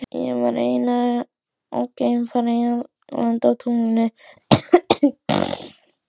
Ég var eins og geimfari að lenda á tunglinu.